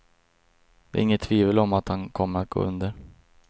Det är inget tvivel om att han kommer att gå under.